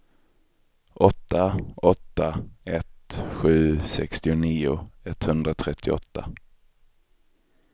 åtta åtta ett sju sextionio etthundratrettioåtta